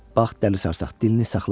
Bax, dəli sarsaq, dilini saxla.